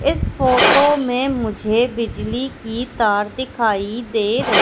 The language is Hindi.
इस फोटो में मुझे बिजली की तार दिखाई दे र--